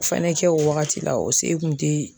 Fɛnɛ kɛ o wagati la o se kun te